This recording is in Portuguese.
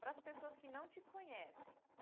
Para as pessoas que não te conhecem.